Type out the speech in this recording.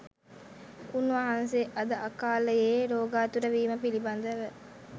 උන්වහන්සේ අද අකාලයේ රෝගාතුර වීම පිළිබඳව